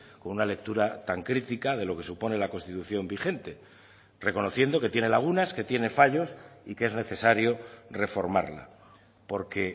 con una lectura tan crítica de lo que supone la constitución vigente reconociendo que tiene lagunas que tiene fallos y que es necesario reformarla porque